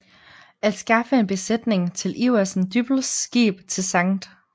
At skaffe en besætning til Iversen Dyppels skib til Skt